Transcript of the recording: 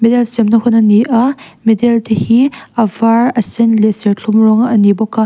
medal semna hun a ni a a medal te hi a var a sen leh serthlum rawng ani bawk a.